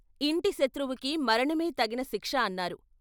ఇంటి శత్రువుకి మరణమే తగిన శిక్ష అన్నారు.